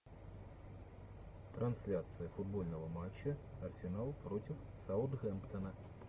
трансляция футбольного матча арсенал против саутгемптона